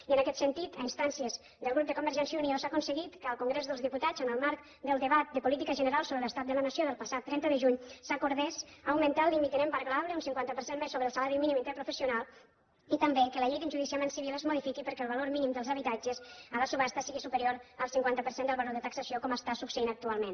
i en aquest sentit a instàncies del grup de convergència i unió s’ha aconseguit que al congrés dels diputats en el marc del debat de política general sobre l’estat de la nació del passat trenta de juny s’acordés augmentar el límit no embargable un cinquanta per cent més sobre el salari mínim interprofessional i també que la llei d’enjudiciament civil es modifiqui perquè el valor mínim dels habitatges a les subhastes sigui superior al cinquanta per cent del valor de taxació com està succeint actualment